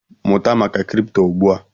Mụta maka kripto ugbu a!